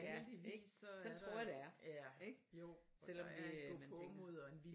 Ja ik sådan tror jeg det er ik selvom vi øh man tænker